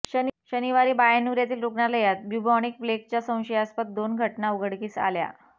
शनिवारी बयन्नुर येथील रूग्णालयात ब्यूबॉनिक प्लेगच्या संशयास्पद दोन घटना उघडकीस आल्या